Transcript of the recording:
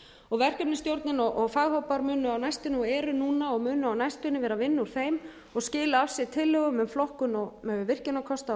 og verkefnisstjórnin og faghópar munu á næstunni og eru núna og munu á næstunni vera að vinna úr þeim og skila af sér tillögum um flokkun virkjunarkosta